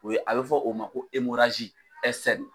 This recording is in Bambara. O ye a bɛ fɔ o ma ko